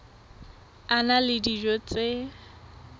a na le dijo tse